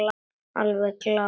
Alveg glás.